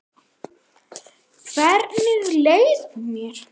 Hvernig leið mér?